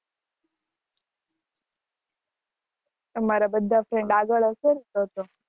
તમારા બધા friend આગળ હશે ને તો તો